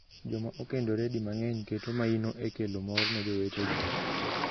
Joma okendore di mang’eny keto maino e kelo mor ne jowetegi.